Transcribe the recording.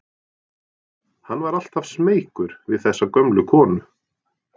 Hann var alltaf smeykur við þessa gömlu konu.